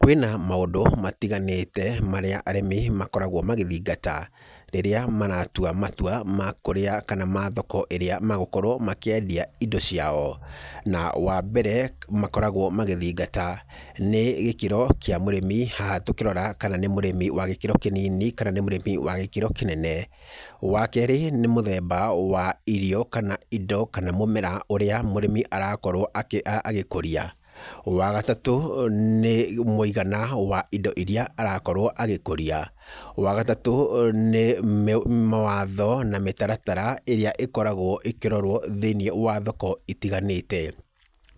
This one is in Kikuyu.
Kwĩna maũndũ matiganĩte marĩa arĩmi makoragwo magĩthingata, rĩrĩa maratwa matwa makũrĩa kana ma thoko ĩrĩa megũkorwo makĩendia indo ciao, na wa mbere makoragwo magĩthingata nĩ gĩkĩro kĩa mũrĩmi haha tũkĩrorakana nĩ mũrĩmi wa gĩkĩro kĩnini, kana nĩ mũrĩmi wa gĩkĩro kĩnene, wa kerĩ nĩ mũthemba wa irio, kana indo kana mũmera ũrĩa mũrĩmi arakorwo akĩ agĩkũria, wa gatatũ nĩ mũigana wa indo iria arakorwo agĩkũria, wa gatatũ nĩ mĩ mawatho na mĩtaratara ĩrĩa ĩkoragwo ĩkĩrorwo thĩinĩ wa thoko itiganĩte,